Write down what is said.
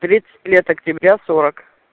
тридцать лет октября сорок